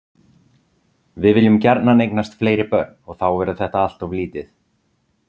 Við viljum gjarnan eignast fleiri börn og þá verður þetta allt of lítið.